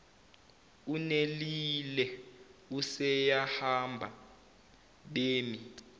unelille useyahamba bemi